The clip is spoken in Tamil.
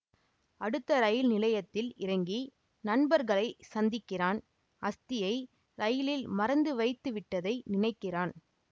அடுத்த ரயில் நிலையத்தில் இறங்கி நண்பர்களை சந்திக்கிறான் அஸ்தியை ரயிலில் மறந்து வைத்துவிட்டதை நினைக்கிறான்